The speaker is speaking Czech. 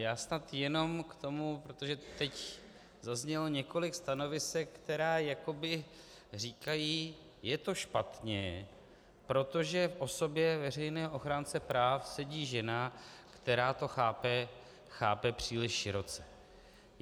Já snad jenom k tomu, protože teď zaznělo několik stanovisek, která jakoby říkají: je to špatně, protože v osobě veřejného ochránce práv sedí žena, která to chápe příliš široce.